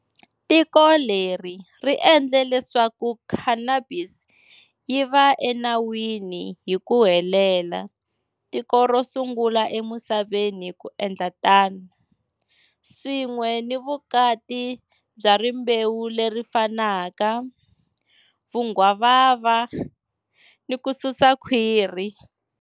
Tiko leri ri endle leswaku cannabis yi va enawini hi ku helela tiko ro sungula emisaveni ku endla tano, swin'we ni vukati bya rimbewu leri fanaka, vunghwavava, ni ku susa khwiri.